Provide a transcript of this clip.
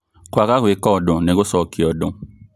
Kwaga gũĩka ũndũ nĩ gũcokia ũndũ